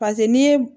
paseke n'i ye